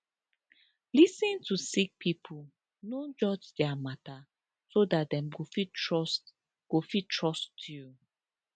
lis ten to sick pipo no judge dia mata so dat dem go fit trust go fit trust you